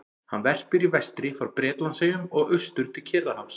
Hann verpir í vestri frá Bretlandseyjum og austur til Kyrrahafs.